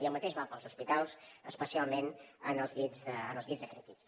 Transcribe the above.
i el mateix val pels hospitals especialment en els llits de crítics